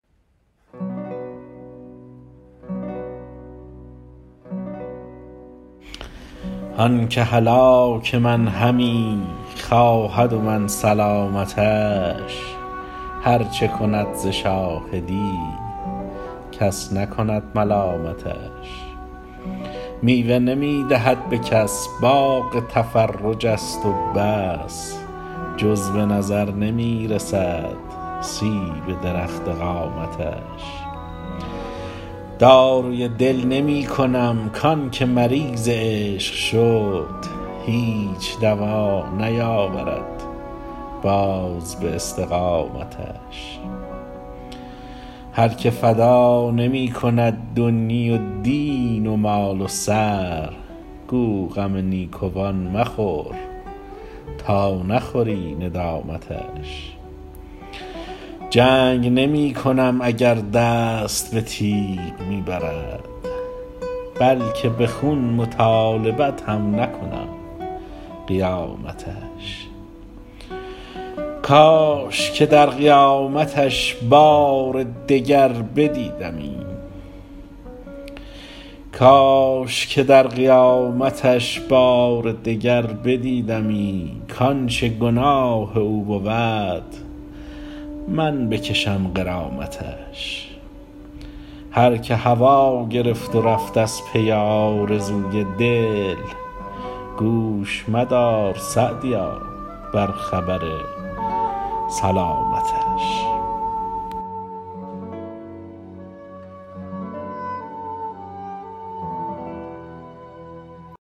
آن که هلاک من همی خواهد و من سلامتش هر چه کند ز شاهدی کس نکند ملامتش میوه نمی دهد به کس باغ تفرج است و بس جز به نظر نمی رسد سیب درخت قامتش داروی دل نمی کنم کان که مریض عشق شد هیچ دوا نیاورد باز به استقامتش هر که فدا نمی کند دنیی و دین و مال و سر گو غم نیکوان مخور تا نخوری ندامتش جنگ نمی کنم اگر دست به تیغ می برد بلکه به خون مطالبت هم نکنم قیامتش کاش که در قیامتش بار دگر بدیدمی کانچه گناه او بود من بکشم غرامتش هر که هوا گرفت و رفت از پی آرزوی دل گوش مدار _سعدیا- بر خبر سلامتش